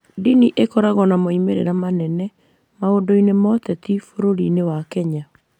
Ndini nĩ ikoragwo na moimĩrĩro manene maũndũ-inĩ ma ũteti bũrũri-inĩ wa Kenya.